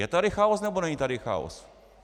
Je tady chaos, nebo není tady chaos?